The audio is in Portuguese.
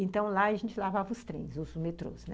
Então, lá a gente lavava os trens, os metrôs, né?